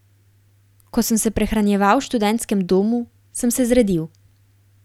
Ko sem se prehranjeval v študentskem domu, sem se zredil.